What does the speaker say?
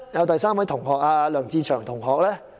第三位是梁志祥同學。